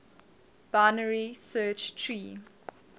binary search tree